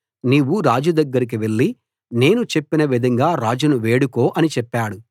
నీవు రాజు దగ్గరికి వెళ్ళి నేను చెప్పిన విధంగా రాజును వేడుకో అని చెప్పాడు